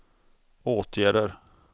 åtgärder